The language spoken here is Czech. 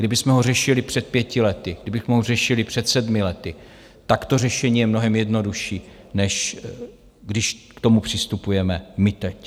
Kdybychom ho řešili před pěti lety, kdybych ho řešili před sedmi lety, tak to řešení je mnohem jednodušší, než když k tomu přistupujeme my teď.